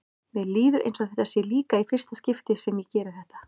Mér líður eins og þetta sé líka í fyrsta skipti sem ég geri þetta.